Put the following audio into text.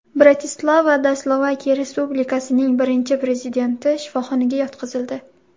Bratislavada Slovakiya respublikasining birinchi prezidenti shifoxonaga yotqizildi.